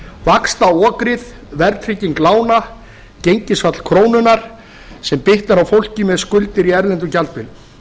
vaxtaokrið verðtrygging lána gengisfall krónunnar sem bitnar á fólki með skuldir í erlendum gjaldmiðli